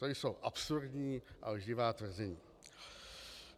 To jsou absurdní a lživá tvrzení.